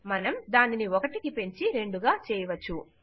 మనం దానిని 1 పెంచి 2 గా చేయవచ్చు